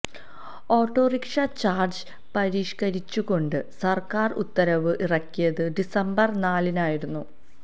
autorickshaw charge പരിഷ്കരിച്ചുകൊണ്ട് സർക്കാർ ഉത്തരവ് ഇറക്കിയത് ഡിസംബർ നാലിനായിരുന്നു